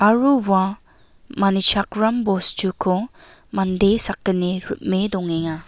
aro ua manichakram bostuko mande sakgni hime dongenga.